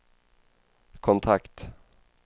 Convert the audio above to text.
kontakt